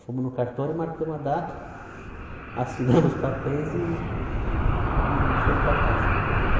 Fomos no cartório, marcamos a data, assinamos os papéis e e fomos para casa.